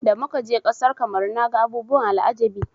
Da muka je ƙasar Kamaru naga abubuwan al'ajabi.